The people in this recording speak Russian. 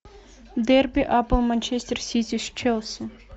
дерби апл манчестер сити с челси